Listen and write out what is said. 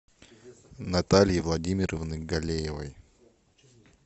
натальи владимировны галеевой